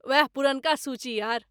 ओएह पुरनका सूची यार!